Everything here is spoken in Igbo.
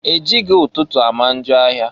E jighi ụtụtụ ama njọ ahịa.